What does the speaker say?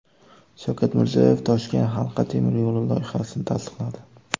Shavkat Mirziyoyev Toshkent halqa temiryo‘li loyihasini tasdiqladi.